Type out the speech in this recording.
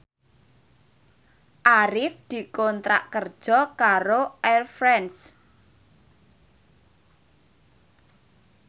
Arif dikontrak kerja karo Air France